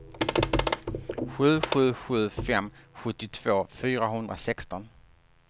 sju sju sju fem sjuttiotvå fyrahundrasexton